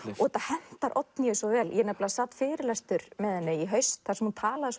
þetta hentar Oddnýju svo vel ég sat fyrirlestur með henni í haust þar sem hún talaði